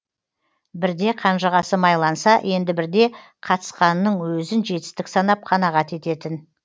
бірде қанжығасы майланса енді бірде қатысқанының өзін жетістік санап қанағат ететін